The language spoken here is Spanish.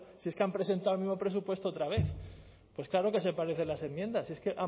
si es que han presentado el mismo presupuesto otra vez pues claro que se parecen las enmiendas si es que